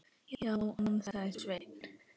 Já, ansaði Sveinn.